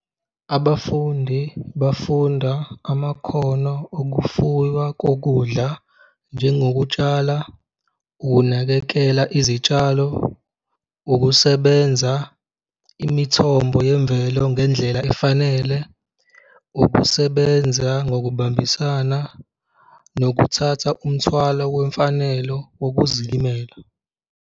Abafundi bafunda amakhono okufuywa kokudla, njengokutshala, ukunakekela izitshalo, ukusebenza imithombo yemvelo ngendlela efanele, ukusebenza ngokubambisana nokuthatha umthwalo wemfanelo wokuzilimela.